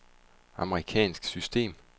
amerikansk system